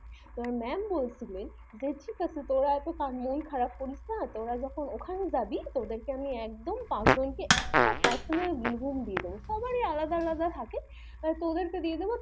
Ma'am বলছিলেন যে ঠিক আছে তোরা এতো মন খারাপ করিস না তোরা যখন ওখানে যাবি তোদের কে আমি একদম পাঁচজন কে একদম একটা personal room দিয়ে দেব সবার ই আলাদা আলাদা থাকে তোদের কে দিয়ে দেব